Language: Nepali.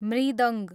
मृदङ्ग